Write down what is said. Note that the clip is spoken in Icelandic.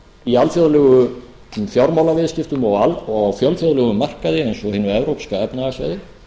í alþjóðlegum fjármálaviðskiptum og á fjölþjóðlegum markaði eins og hinu evrópska efnahagssvæði